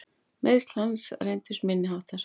Meiðsl hans reyndust minni háttar.